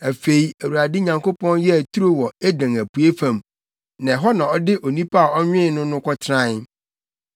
Afei Awurade Nyankopɔn yɛɛ turo wɔ Eden apuei fam, na ɛhɔ na ɔde onipa a ɔnwen no no tenae.